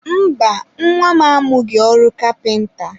mba, nwa m amụghị ọrụ kapịnta.